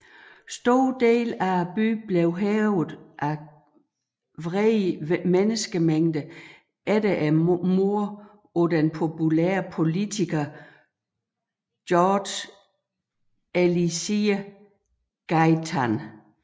Store dele af byen blev hærget af vrede menneskemængder efter mordet på den populære politiker Jorge Eliécer Gaitan